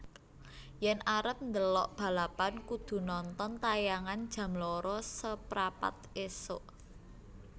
Yen arep ndelok balapan kudu nonton tayangan jam loro seprapat isuk